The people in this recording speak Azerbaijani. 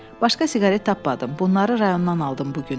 Başqa siqaret tapmadım, bunları rayondan aldım bu gün.